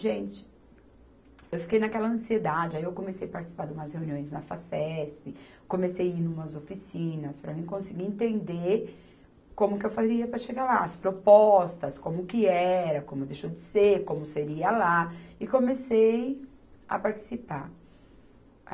Gente, eu fiquei naquela ansiedade, aí eu comecei participar de umas reuniões na Facesp, comecei ir numas oficinas para mim conseguir entender como que eu faria para chegar lá, as propostas, como que era, como deixou de ser, como seria lá, e comecei a participar.